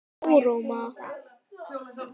Kjarrmóa